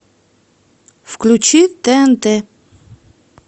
включи тнт